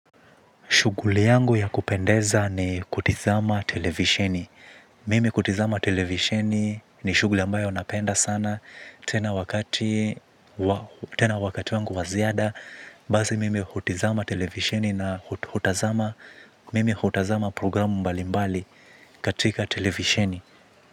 Shughuli yangu ya kupendeza ni kutazama televisheni. Mimi kutazama televisheni ni shuguli ambayo napenda sana. Tena wakati, tena wakati wangu wa ziada. Basi mimi hutazama televisheni na hutazama, mimi hutazama programu mbali mbali katika televisheni.